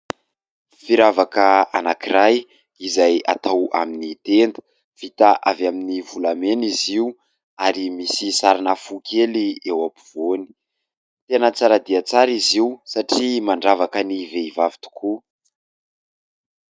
Firavaka anankiray izay atao amin'ny tenda. Vita avy amin'ny volamena izy io ary misy sarina fo kely eo ampovoany. Tena tsara dia tsara izy io satria mandravaka ny vehivavy tokoa.